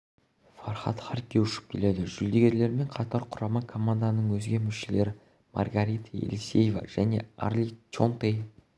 фархад харки ұшып келеді жүлдегерлермен қатар құрама команданың өзге мүшелері маргарита елисеева және арли чонтей